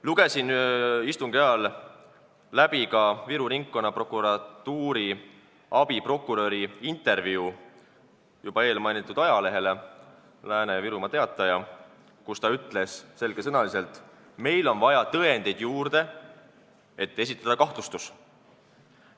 Lugesin istungi ajal läbi Viru Ringkonnaprokuratuuri abiprokuröri intervjuu eelmainitud ajalehele Virumaa Teataja, kus ta ütles selge sõnaga, et on vaja tõendeid juurde, selleks et esitada kahtlustus.